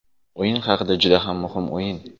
O‘yin haqida Juda ham muhim o‘yin.